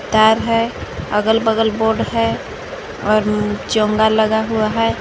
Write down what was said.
तार है अगल बगल बोर्ड है और चोंगा लगा हुआ है।